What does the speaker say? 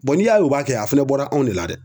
n'i y'a y'u b'a kɛ a fɛnɛ bɔra anw de la dɛ.